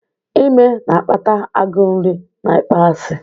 Ime na-akpata agụụ nri na ịkpọasị.